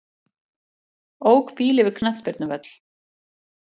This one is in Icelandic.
Ók bíl yfir knattspyrnuvöll